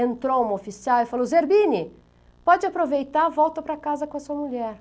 Entrou uma oficial e falou, Zerbini, pode aproveitar, volta para casa com a sua mulher.